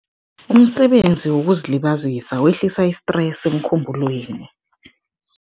Umsebenzi wokuzilibazisa wehlisa i-stress emkhumbulweni.